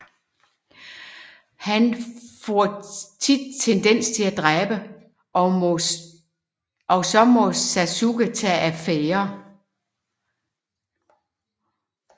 Han for tit tendens til at dræbe og så må Sasuke tage afære